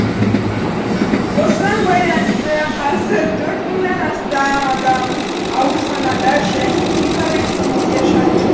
осыған байланысты қазір төрт мыңнан астам адам аурханада және үй карантинінде жатыр